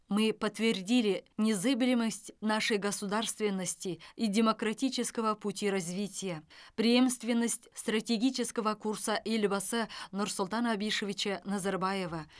мы подтвердили незыблемость нашей государственности и демократического пути развития преемственность стратегического курса елбасы нурсултана абишевича назарбаева